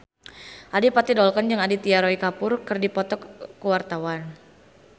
Adipati Dolken jeung Aditya Roy Kapoor keur dipoto ku wartawan